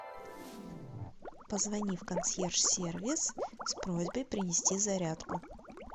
позвони в консьерж сервис с просьбой принести зарядку